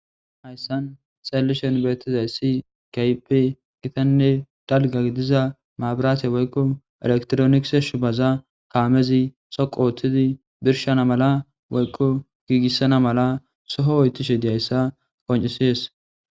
Hayssan xallishen beetizay si kaype gitanne dalga idiza maabiraache woykko elektroniise shubaza kaamezi soqo oothtidi birshana mala woykko giigissana mala soho oytishe diyayssa qoncisiyes.